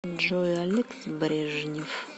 джой алекс брежнев